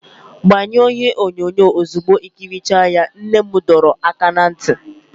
Gbanyụọ ihe onyonyo ozugbo i ikirichara ya, nne m dọrọ aka ná ntị.